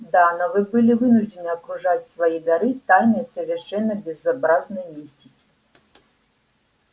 да но вы были вынуждены окружать свои дары тайной совершенно безобразной мистики